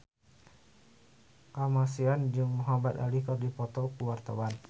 Kamasean jeung Muhamad Ali keur dipoto ku wartawan